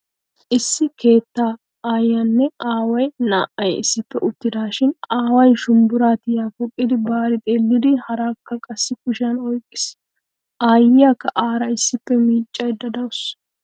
Issi keettaa aayyiyanne aaway naa"ay issippe uttidaashin aaway shumbburaa tiya poqqidi baari xeellidi haraakka qassi kushiyan oyqqiis. Aayyiyakka aara issippe miiccaydda dawusu.